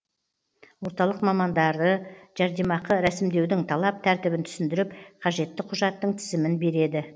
орталық мамандары жәрдемақы рәсімдеудің талап тәртібін түсіндіріп қажетті құжаттың тізімін береді